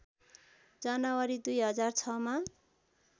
जनवरी २००६ मा